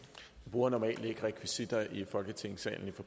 når sådan